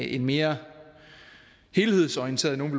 en mere helhedsorienteret nogle